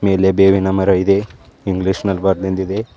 ಇಲ್ಲಿ ಬೇವಿನ ಮರ ಇದೆ ಇಂಗ್ಲಿಷ್ ನಲ್ ಬರ್ದಿದಿದೆ.